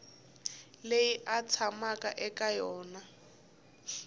leyi a tshamaka eka yona